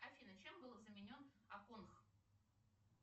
афина чем был заменен аконх